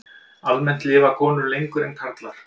Almennt lifa konur lengur en karlar.